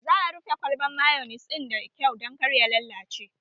Za a rufe kwalban mayonis ɗin da kyau dan kar ya lallace